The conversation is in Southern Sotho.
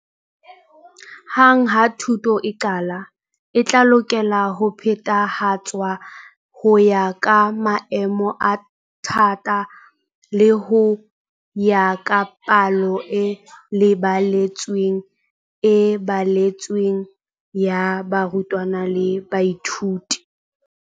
Hang ha thuto e qala, e tla lokela ho phethahatswa ho ya ka maemo a thata le ho ya ka palo e lebeletsweng e baletsweng ya barutwana le baithuti.